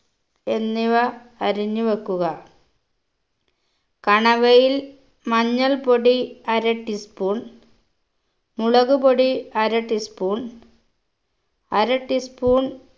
എന്നിവ അറിഞ്ഞ് വെക്കുക കണവയിൽ മഞ്ഞൾപൊടി അര tea spoon മുളക് പൊടി അര tea spoon അര tea spoon